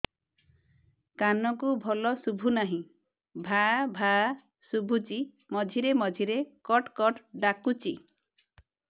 କାନକୁ ଭଲ ଶୁଭୁ ନାହିଁ ଭାଆ ଭାଆ ଶୁଭୁଚି ମଝିରେ ମଝିରେ କଟ କଟ ଡାକୁଚି